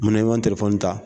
Mun na i ma ta ?